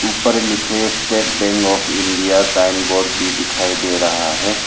ऊपर लिखे State Bank of India sign board भी दिखाई दे रहा है।